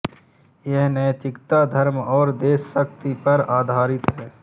यह नैतिकता धर्म और देशभक्ति पर आधारित है